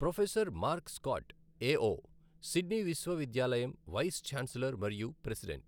Professor Mark Scott AO, Sydney విశ్వవిద్యాలయం vice chancellor మరియు president.